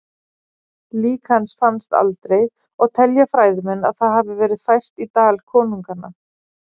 Lík hans fannst aldrei og telja fræðimenn að það hafi verið fært í Dal konunganna.